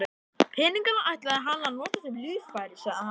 Peningana ætlaði hann að nota sem lífeyri, sagði hann.